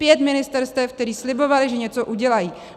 Pět ministerstev, která slibovala, že něco udělají!